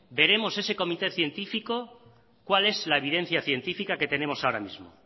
veremos a ese comité científico cuál es la evidencia científica que tenemos ahora mismo